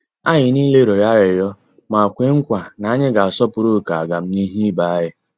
Anyị niile rịọrọ arịrịọ ma kwe nkwa na anyị ga -asọpụrụ oké agamnihu ibé anyị.